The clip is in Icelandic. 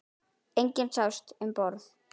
Enginn sást um borð.